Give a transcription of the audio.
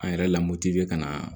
An yɛrɛ lamɔti ka na